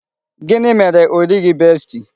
Gịnị mere o righi besti?